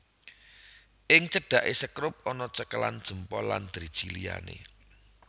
Ing cedhake sekrup ana cekelan jempol lan driji liyane